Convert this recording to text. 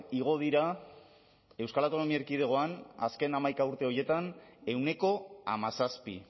igo dira euskal autonomia erkidegoan azken hamaika urte horietan ehuneko hamazazpi